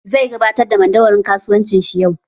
Zai gabatar da madauwarin kasuwancin shi yau